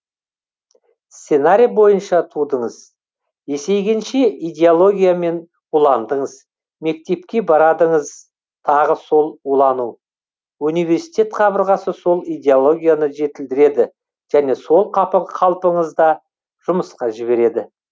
сценарий бойынша тудыңыз есейгенше идеологиямен уландыңыз мектепке барадыңыз тағы сол улану университет қабырғасы сол идеологияны жетілдіреді және сол қалпыңызда жұмысқа жібереді